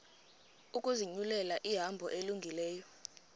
ukuzinyulela ihambo elungileyo